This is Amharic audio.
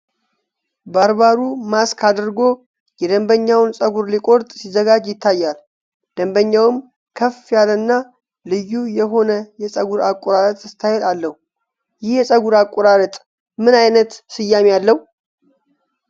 ባርበሩ ማስክ አድርጎ የደንበኛውን ፀጉር ሊቆርጥ ሲዘጋጅ ይታያል፤ ደንበኛውም ከፍ ያለና ልዩ የሆነ የፀጉር አቆራረጥ ስታይል አለው። ይህ የፀጉር አቆራረጥ ምን ዓይነት ስያሜ አለው?